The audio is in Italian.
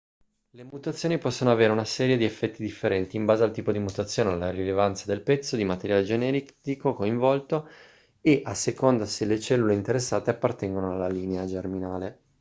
le mutazioni possono avere una serie di effetti differenti in base al tipo di mutazione alla rilevanza del pezzo di materiale genetico coinvolto e a seconda se le cellule interessate appartengono alla linea germinale